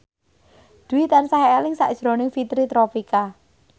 Dwi tansah eling sakjroning Fitri Tropika